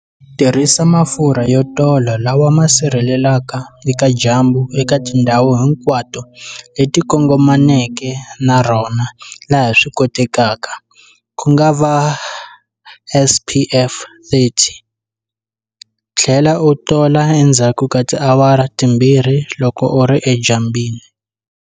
Tirhisa mafurha yo tola lawa ma sirhelelaka eka dyambu eka tindhawu hinkwato leti kongomaneke na rona laha swi kotekaka, ku nga va SPF 30, tlhela u tola endzhaku ka tiawara timbirhi loko u ri edyambyini.